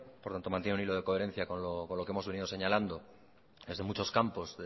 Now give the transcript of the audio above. por lo tanto mantiene un hilo de coherencia con lo que hemos venido señalando desde muchos campos